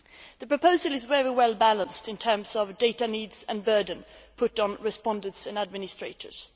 The proposal is very well balanced in terms of data needs and the burden put on respondents and administrators.